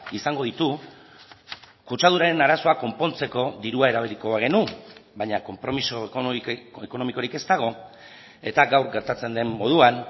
izango ditu kutsaduraren arazoa konpontzeko dirua erabiliko bagenu baina konpromiso ekonomikorik ez dago eta gaur gertatzen den moduan